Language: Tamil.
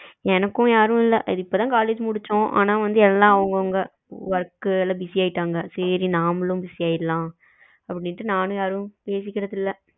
எனக்கும் யாரும் இல்ல இது இப்போ தான் college முடிச்சோம் ஆனா வந்து எல்லாம் அவங்க அவங்க work ல busy ஆயிட்டாங்க சரி நாமளும் busy ஆயிரலாம் அப்படின்னு நானும் யாருடையும் பேசிகிறது இல்ல.